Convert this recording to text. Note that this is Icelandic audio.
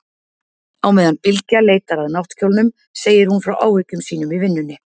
Á meðan Bylgja leitar að náttkjólnum segir hún frá áhyggjum sínum í vinnunni.